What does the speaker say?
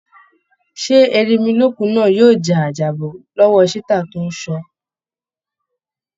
Ṣé erinmilókun náá yóò ja àjàbọ́ lọ́wọ́ ṣítà tóń ṣọ́ ọ?